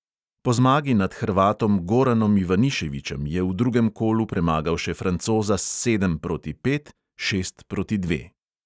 Po zmagi nad hrvatom goranom ivaniševičem je v drugem kolu premagal še francoza s sedem proti pet, šest proti dva.